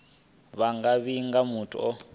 vha nga vhiga muthu o